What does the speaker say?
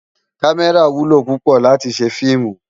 Kàmèrá wúlò púpò láti sé filmú